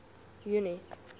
junie